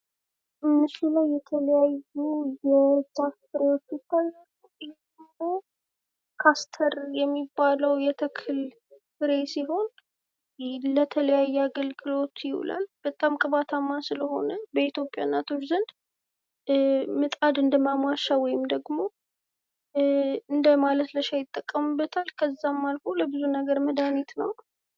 በምስሉ ላይ የተለያዩ የዛፍ ፍሬዎች ይታያሉ። ካስተር የሚባለው የተክል ፍሬ ሲሆን ለተለያየ አገልግሎት ይውላል። በጣም ቅባታማ ስለሆነ በኢትዮጵያ እናቶች ዘንድ ምጣድን ለማሟሻ ወይም ደግሞ እንደማለስለሻ ይጠቀሙበታል። ከዛም አልፎ ለብዙ ነገር መድኃኒት ነው።